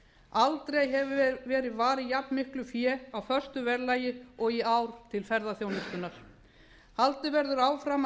aldrei hefur verið varið til ferðaþjónustunnar jafnmiklu fé á föstu verðlagi og í ár haldið verður áfram að